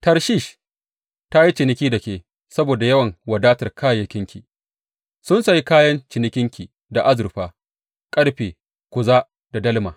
Tarshish ta yi ciniki da ke saboda yawan wadatar kayayyakinki; sun sayi kayan cinikinki da azurfa, ƙarfe, kuza da dalma.